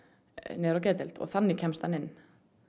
niður á geðdeild og þannig kemst hann inn